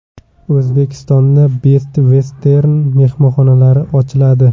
O‘zbekistonda Best Western mehmonxonalari ochiladi.